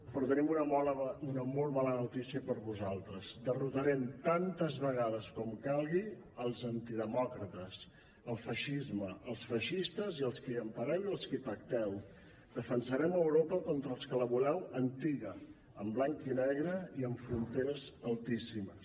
però tenim una molt mala notícia per a vosaltres derrotarem tantes vegades com calgui els antidemòcrates el feixisme els feixistes i els que els empareu i els que hi pacteu defensarem europa contra els que la voleu antiga en blanc i negre i amb fronteres altíssimes